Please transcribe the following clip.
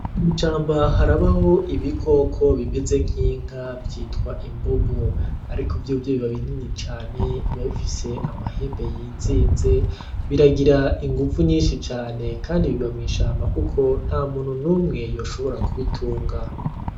Mw'ishamba harabaho ibikoko bimeze nk'inka vyitwa imbogo ariko vyovyo biba binini cane biba bifise amahembe yizinze biragira inguvu nyinshi cane kandi biba mw'ishamba kuko nta muntu numwe yoshobora kubitunga.